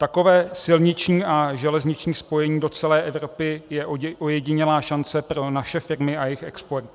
Takové silniční a železniční spojení do celé Evropy je ojedinělá šance pro naše firmy a jejich export."